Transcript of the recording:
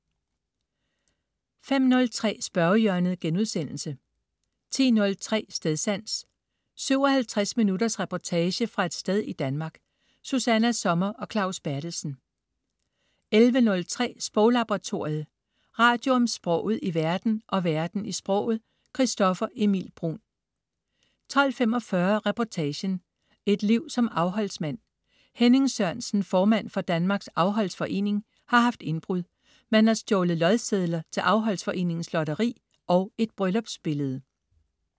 05.03 Spørgehjørnet* 10.03 Stedsans. 57 minutters reportage fra et sted i Danmark. Susanna Sommer og Claus Berthelsen 11.03 Sproglaboratoriet. Radio om sproget i verden og verden i sproget. Christoffer Emil Bruun 12.45 Reportagen: Et liv som afholdsmand. Henning Sørensen, formand for Danmarks Afholdsforening, har haft indbrud. Man har stjålet lodsedler til Afholdsforeningens lotteri og et bryllupsbillede